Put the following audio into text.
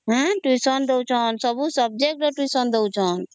tution ଦଉ ଛନ ସବୁ subject ର tuition ଦଉ ଛନ